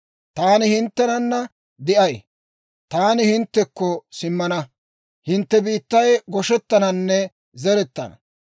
Taani hinttenanna de'ay; taani hinttekko simmana; hintte biittay goshettananne zerettana.